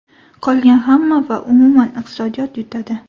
Qolgan hamma va umuman iqtisodiyot yutadi”.